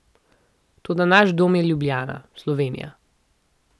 Toda naš dom je Ljubljana, Slovenija.